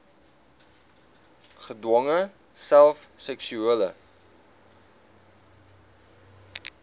gedwonge self seksuele